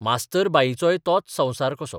मास्तर बाईंचोय तोच संवसार कसो.